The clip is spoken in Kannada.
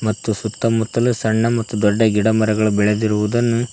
ತ್ತು ಸುತ್ತಮುತ್ತಲು ಸಣ್ಣ ಮತ್ತು ದೊಡ್ಡ ಗಿಡ ಮರಗಳು ಬೆಳೆದಿರುವುದನ್ನು--